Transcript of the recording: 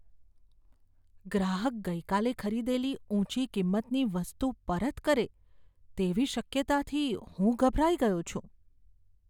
ગ્રાહક ગઈકાલે ખરીદેલી ઊંચી કિંમતની વસ્તુ પરત કરે તેવી શક્યતાથી હું ગભરાઈ ગયો છું.